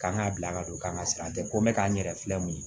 K'an ka bila ka don k'an ka sira tɛ ko n bɛ k'an yɛrɛ filɛ nin ye